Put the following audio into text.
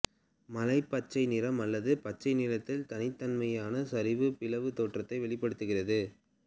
மலைப்பச்சை நிறம் அல்லது பச்சை நிறத்தில் தனித்தன்மையான சரி பிளவு தோற்றத்தை வெளிப்படுத்துகிறது